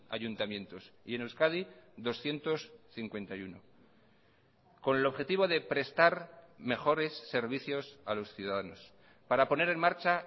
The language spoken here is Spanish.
ayuntamientos y en euskadi doscientos cincuenta y uno con el objetivo de prestar mejores servicios a los ciudadanos para poner en marcha